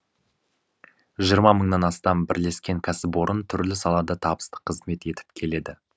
жиырма мыңнан астам бірлескен кәсіпорын түрлі салада табысты қызмет етіп келеді